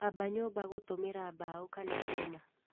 Amba nyũmba gũtũmĩra mbaũ kana Cuma.